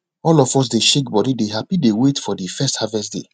all of us dey shake body dey happy dey wait for de first harvest day